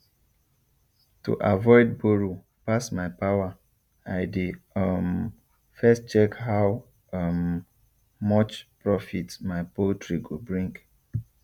to avoid borrow pass my power i dey um first check how um much profit my poultry go bring